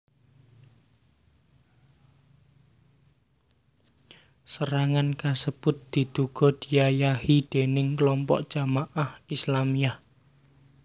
Serangan kasebut diduga diayahi déning klompok Jamaah Islamiyah